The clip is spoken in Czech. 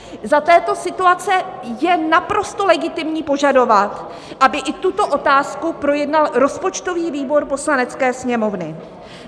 Za této situace je naprosto legitimní požadovat, aby i tuto otázku projednal rozpočtový výbor Poslanecké sněmovny.